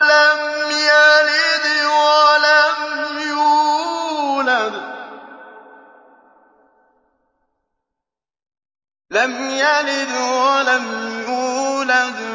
لَمْ يَلِدْ وَلَمْ يُولَدْ